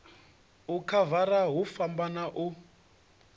u khavara hu fhambana u